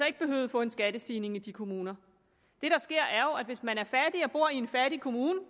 ikke behøvede at få en skattestigning i de kommuner det der sker er jo at hvis man er fattig og bor i en fattig kommune